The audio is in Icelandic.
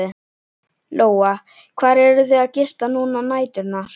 Lóa: Hvar eruð þið að gista núna á næturnar?